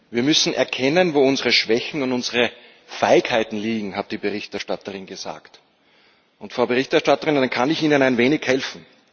Wir müssen erkennen, wo unsere Schwächen und unsere Feigheiten liegen, hat die Berichterstatterin gesagt. Frau Berichterstatterin, da kann ich Ihnen ein wenig helfen.